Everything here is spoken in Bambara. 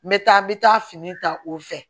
N bɛ taa n bɛ taa fini ta o fɛ